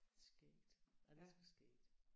Skægt ej det er sgu skægt